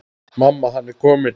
Mamma, hann er kominn!